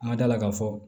An ka da la k'a fɔ